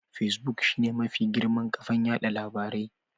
Fesbuk shine mafi girman kafan yada labarai.